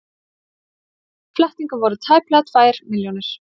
Flettingar voru tæplega tvær milljónir.